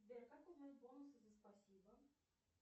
сбер как узнать бонусы за спасибо